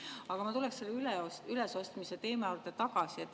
Aga ma tulen selle ülesostmise teema juurde tagasi.